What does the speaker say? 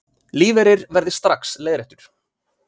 Lífeyrir verði strax leiðréttur